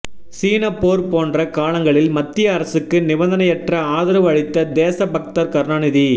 சீனப்போர் போன்ற காலங்களில் மத்திய அரசுக்கு நிபந்தனையற்ற ஆதரவு அளித்த தேச பக்தர் கருணாநிதி